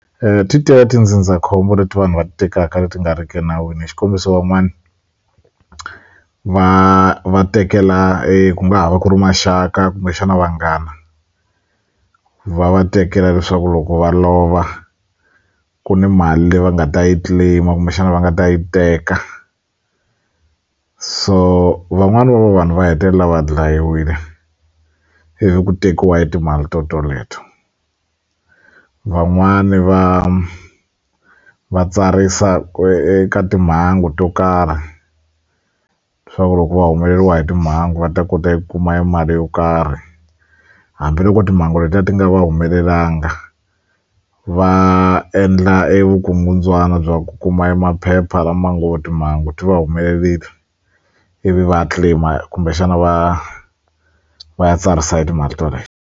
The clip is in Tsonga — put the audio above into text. ti tele tindzindzakhombo leti vanhu va ti tekaka leti nga ri ki nawini xikombiso van'wani va va tekela ku nga ha va ku ri maxaka kumbexana vanghana va va tekela leswaku loko va lova ku ni mali leyi va nga ta yi claim-a kumbexana va nga ta yi teka so van'wani va va vanhu va hetelela va dlayiwile hi ku tekiwa hi timali to toleto van'wani va va tsarisa ku eka timhangu to karhi swaku loko va humeleriwa hi timhangu va ta kota ku kuma mali yo karhi hambiloko timhangu letiya ti nga va humelelanga va endla evukungundzwana bya ku kuma emaphepha lama ngo timhangu ti va humelerile ivi va ya claim-a kumbexana va va ya tsarisa timali to toleto.